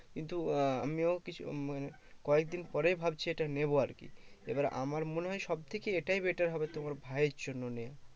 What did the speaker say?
কিন্তু আহ আমিও কিছু মানে কয়েক দিন পরেই ভাবছি এটা নেবো আরকি। এবার আমার মনে হয় সবথেকে এটাই better হবে তোমার ভাইয়ের জন্য নেওয়া।